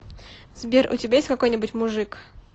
сбер у тебя есть какой нибудь мужик